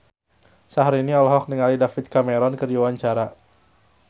Syahrini olohok ningali David Cameron keur diwawancara